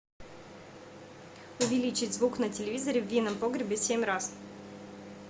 увеличить звук на телевизоре в винном погребе семь раз